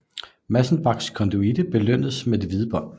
Massenbachs konduite belønnedes med det hvide bånd